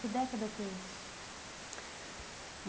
Que década que é isso?